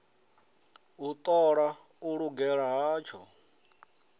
u ṱola u lugela hatsho